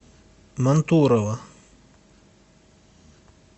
мантурово